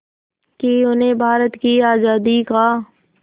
कि उन्हें भारत की आज़ादी का